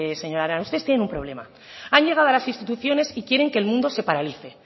señora arana ustedes tienen un problema han llegado a las instituciones y quieren que el mundo se paralice